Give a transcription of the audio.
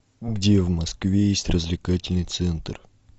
где в москве есть развлекательный центр